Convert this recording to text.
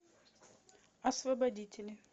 освободители